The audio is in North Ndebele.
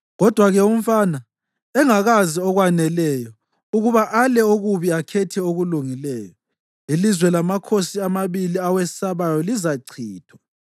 Kodwa-ke umfana engakazi okwaneleyo ukuba ale okubi akhethe okulungileyo, ilizwe lamakhosi amabili owesabayo lizachithwa.